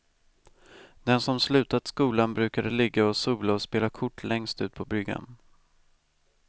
De som slutat skolan brukade ligga och sola och spela kort längst ut på bryggan.